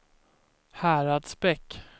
Häradsbäck